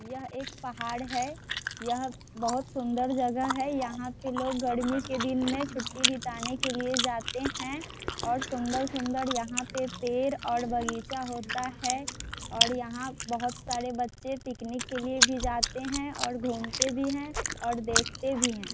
यह एक पहाड़ है यह बहुत सुंदर जगह है यहाँ पे लोग गर्मी के दिन में छुट्टी बिताने के लिए जाते है और सूंदर-सूंदर यहाँ पे पेड़ और बगीचा होता है और यहाँ बहुत सारे बच्चे पिकनिक के लिए भी जाते है और घूमते भी है और देखते भी है।